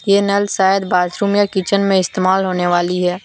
ये नल शायद बाथरूम या किचन में इस्तेमाल होने वाली है।